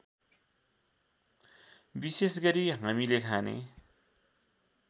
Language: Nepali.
विशेषगरी हामीले खाने